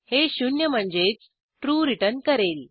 हे शून्य म्हणजेच ट्रू रिटर्न करेल